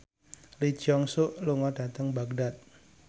Lee Jeong Suk lunga dhateng Baghdad